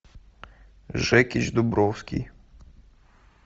жекич дубровский